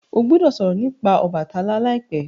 o gbódò sòrò nípa Obàtálá láìpé!